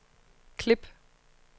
klip